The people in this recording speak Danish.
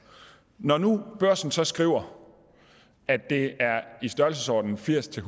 når nu børsen så skriver at det er i størrelsesordenen firs til